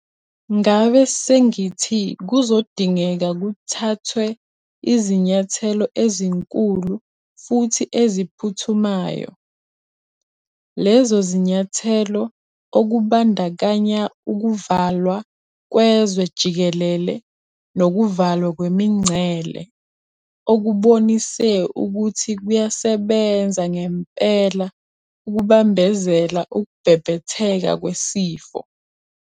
Ngabe sengithi kuzodingeka kuthathwe izinyathelo ezinkulu futhi eziphuthumayo. Lezo zinyathelo - okubandakanya ukuvalwa kwezwe jikelele nokuvalwa kwemingcele - okubonise ukuthi kuyasebenza ngempela ukubambezela ukubhebhetheka kwesifo.